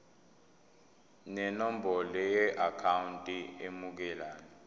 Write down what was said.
nenombolo yeakhawunti emukelayo